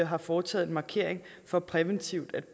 har foretaget en markering for præventivt at